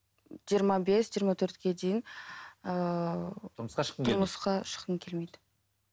жиырма бес жиырма төртке дейін ыыы тұрмысқа шыққым келмейді